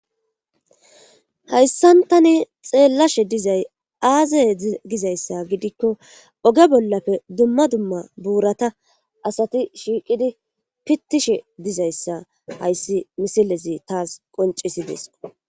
hayssan tani xeellashe dizay aazay dizayssa gidikko oge bollafe dumma dumma buurata asati shiiqidi pittishe dizayssa hayssi misilezi taas qoncisides